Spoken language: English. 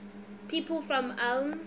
people from ulm